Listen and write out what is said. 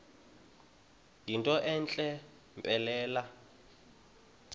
yinto entle mpelele